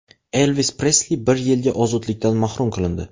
Elvis Presli bir yilga ozodlikdan mahrum qilindi.